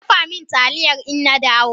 Kadafa min taliya innadawo!